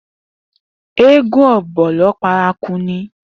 Eégún Ọ̀bọ̀lọ́ paraku ni.